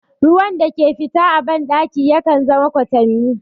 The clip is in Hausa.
Ruwan da ke fita a ban ɗaki yakan zama kwatami